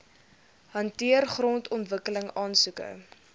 hanteer grondontwikkeling aansoeke